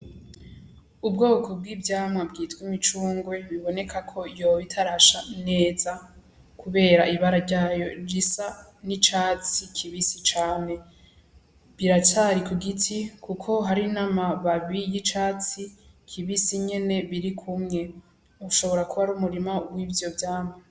Ubwoko bw'ivyamwa bwita imicungwe biboneka ko yoba itarasha neza kubera ibara ryayo risa n'icatsi kibisi cane. Biracari ku giti kuko hari n'amababi y'icatsi kibisi nyene biri kumwe. Ushobora kuba ari umurima w'ivyo vyamwa.